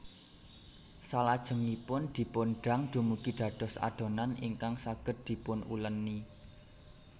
Salajengipun dipun dang dumugi dados adonan ingkag saged dipunuleni